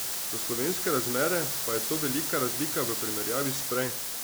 Za slovenske razmere pa je to velika razlika v primerjavi s prej.